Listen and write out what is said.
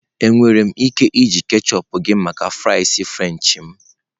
Enwere m ike iji ketchup gị maka fries french m?